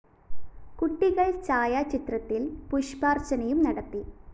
കുട്ടികള്‍ ഛായാചിത്രത്തില്‍ പുഷ്പാര്‍ച്ചനയും നടത്തി